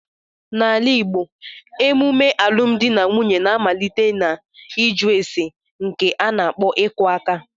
N'ala igbo, emume alụmdi na nwunye na-amalite n'iju ésè nke a n'akpo iku aka